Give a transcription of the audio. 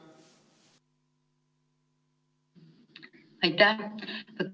Aitäh!